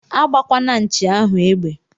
Agbakwana nchi ahu egbe!!